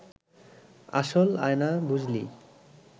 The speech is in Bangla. আসল আয়না, বুঝলি